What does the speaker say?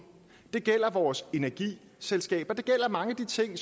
det gælder vores energiselskaber og det gælder mange af de ting